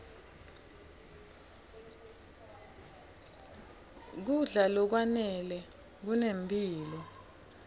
kudla lokwanele kunemphilo